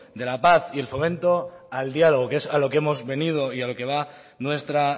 de la paz y el fomento al diálogo que es a lo que hemos venido y a lo que va nuestra